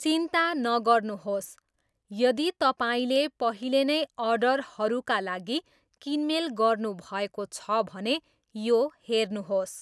चिन्ता नगर्नुहोस्, यदि तपाईँले पहिले नै अर्डरहरूका लागि किनमेल गर्नुभएको छ भने यो हेर्नुहोस्।